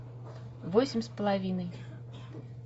восемь с половиной